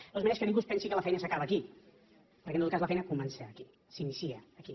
de totes maneres que ningú es pensi que la feina s’acaba aquí perquè en tot cas la feina comença aquí s’inicia aquí